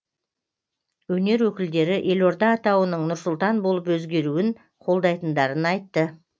өнер өкілдері елорда атауының нұр сұлтан болып өзгеруін қолдайтындарын айтты